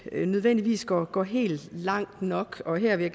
nødvendigvis går går helt langt nok og her vil